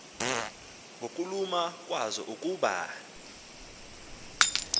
ngokuluma kwazo ukuba